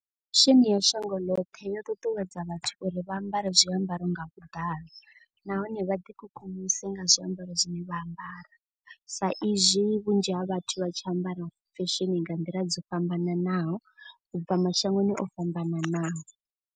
Fesheni ya shango ḽoṱhe yo ṱuṱuwedza vhathu uri vha ambare zwiambaro nga vhuḓalo. Nahone vha ḓi kukumuse nga zwiambaro zwine vha ambara. Sa izwi vhunzhi ha vhathu vha tshi ambara fesheni nga nḓila dzo fhambananaho u bva mashangoni o fhambananaho.